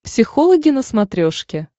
психологи на смотрешке